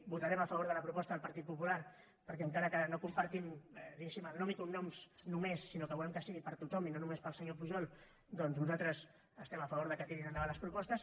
votarem a favor de la proposta del partit popular perquè encara que no en compartim diguéssim el nom i cognoms només sinó que volem que sigui per a tothom i no només per al senyor pujol doncs nosaltres estem a favor que tirin endavant les propostes